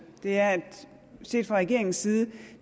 er at set fra regeringens side